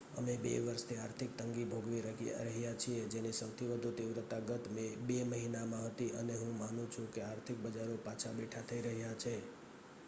અમે બે વર્ષથી આર્થિક તંગી ભોગવી રહ્યાં છીએ જેની સૌથી વધુ તીવ્રતા ગત બે મહિનામાં હતી અને હું માનું છું કે આર્થિક બજારો પાછા બેઠાં થઈ રહ્યાં છે